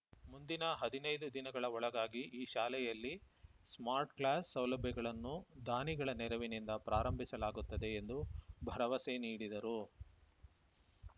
ಮುಂದಿನ ಹದಿನೈದು ದಿನಗಳ ಒಳಗಾಗಿ ಈ ಶಾಲೆಯಲ್ಲಿ ಸ್ಮಾರ್ಟ್‌ ಕ್ಲಾಸ್‌ ಸೌಲಭ್ಯಗಳನ್ನು ದಾನಿಗಳ ನೆರವಿನಿಂದ ಪ್ರಾರಂಭಿಸಲಾಗುತ್ತದೆ ಎಂದು ಭರವಸೆ ನೀಡಿದರು